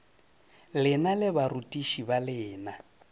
lena le barutiši ba lena